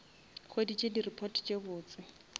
hweditše di report tše botse